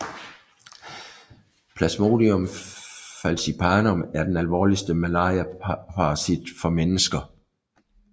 Plasmodium falciparum er den alvorligste malariaparasit for mennesker